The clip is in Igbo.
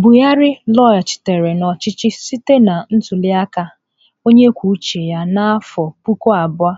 Buhari laghachiri n'ọchịchị site na ntuli aka onye kwuo uche ya n'afọ puku abụọ